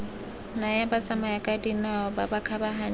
naya batsamayakadinao ba ba kgabaganyang